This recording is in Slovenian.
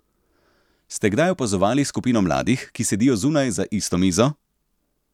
Ste kdaj opazovali skupino mladih, ki sedijo zunaj za isto mizo?